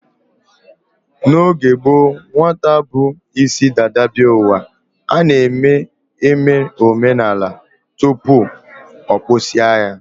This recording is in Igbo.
N'oge gboo, nwata bu isi dada bịa ụwa, a na-eme omenala tupu a kpụsịa ya